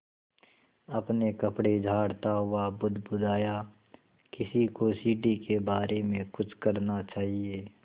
अपने कपड़े झाड़ता वह बुदबुदाया किसी को सीढ़ी के बारे में कुछ करना चाहिए